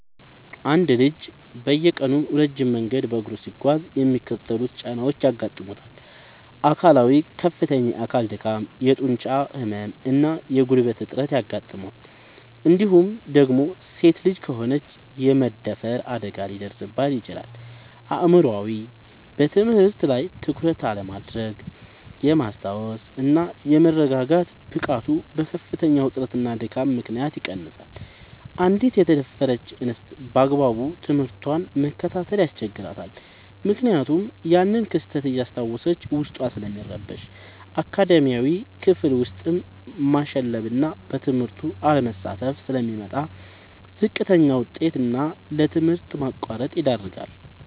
አንድ ልጅ በየቀኑ ረጅም መንገድ በእግሩ ሲጓዝ የሚከተሉት ጫናዎች ያጋጥሙታል፦ አካላዊ፦ ከፍተኛ የአካል ድካም፣ የጡንቻ ህመም እና የጉልበት እጥረት ያጋጥመዋል እንዲሁም ደግሞ ሴት ልጅ ከሆነች የመደፈር አደጋ ሊደርስባት ይችላል። አእምሯዊ፦ በትምህርት ላይ ትኩረት የማድረግ፣ የማስታወስ እና የመረጋጋት ብቃቱ በከፍተኛ ውጥረትና ድካም ምክንያት ይቀንሳል: አንዲት የተደፈረች እንስት ባግባቡ ትምህርቷን መከታተል ያስቸግራታል ምክንያቱም ያንን ክስተት እያስታወሰች ዉስጧ ስለሚረበሽ። አካዳሚያዊ፦ ክፍል ውስጥ ማሸለብና በትምህርቱ አለመሳተፍ ስለሚመጣ: ለዝቅተኛ ውጤት እና ለትምህርት ማቋረጥ ይዳረጋል።